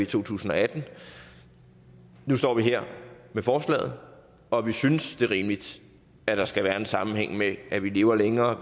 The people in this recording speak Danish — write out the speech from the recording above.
to tusind og atten nu står vi her med forslaget og vi synes det er rimeligt at der skal være en sammenhæng mellem at vi lever længere